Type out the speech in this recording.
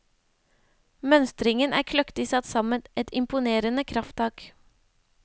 Mønstringen er kløktig satt sammen, et imponerende krafttak.